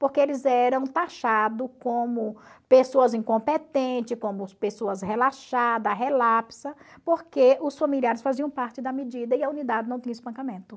porque eles eram taxado como pessoas incompetentes, como pessoas relaxada, relapsa, porque os familiares faziam parte da medida e a unidade não tinha espancamento.